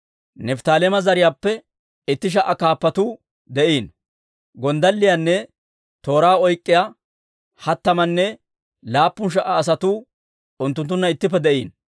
Nifttaaleema zariyaappe itti sha"a kaappatuu de'iino; gonddalliyaanne tooraa oyk'k'iyaa hattamanne laappun sha"a asatuu unttunttunna ittippe de'iino.